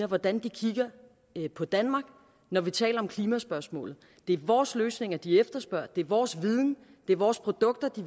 hvordan de kigger på danmark når vi taler om klimaspørgsmålet det er vores løsninger de efterspørger det er vores viden det er vores produkter de